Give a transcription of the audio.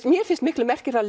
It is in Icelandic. mér finnst miklu merkilegra